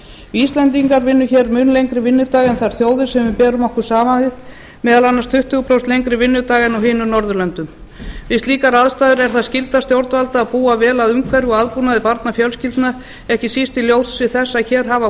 íslendingar vinna hér mun lengri vinnudag en þær þjóðir sem við berum okkur saman við meðal annars tuttugu prósent lengri vinnudag en á hinum norðurlönd um við slíkar aðstæður er það skylda stjórnvalda að búa vel að umhverfi og aðbúnaði barnafjölskyldna ekki síst í ljósi þess að hér hafa